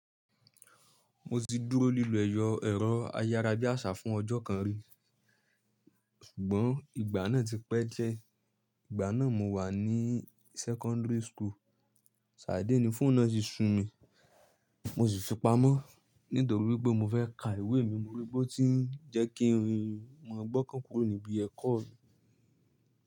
Mo ti dúró lílọ ẹ̀yọ̀ ẹ̀rọ ayára bí àṣá fún ọjọ́ kan rí, ṣùgbọ́n ìgbà náà ti pẹ́ jẹ. Ìgbà náà mo wà ní sẹ́kọ́ńdìrì school. Sáà dédé ní fóònù náà sí sun mi, mo sì fipamọ́ nítorí pé mo fẹ́ ka ìwé mi mo rí pé ó tí ń jẹ́ kí ń. Mo gbọ́kàn kúrò níbi ẹ̀kọ́ mi.